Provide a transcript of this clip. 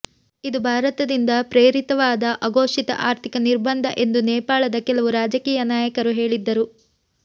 ಇದು ಭಾರತದಿಂದ ಪ್ರೇರಿತವಾದ ಅಘೋಷಿತ ಆರ್ಥಿಕ ನಿರ್ಬಂಧ ಎಂದು ನೇಪಾಳದ ಕೆಲವು ರಾಜಕೀಯ ನಾಯಕರು ಹೇಳಿದ್ದರು